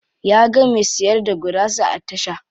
Ya ga me siyar da gurasa a tasha.